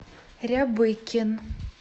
рябыкин